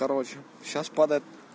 короче сейчас падает